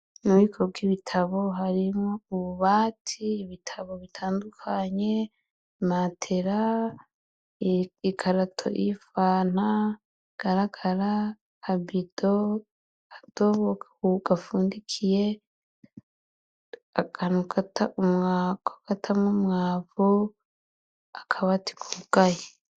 Mu bubuko bw'ibotabo harimwo ububati, ibitabo bitandukanye, imatera, ikarato y'ifanta igaragara, akabido, akadobo gafundikiye, akantu ko gutamwo umwavu, akabati kugaye.